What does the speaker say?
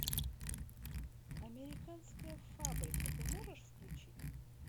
американская фабрика ты можешь включить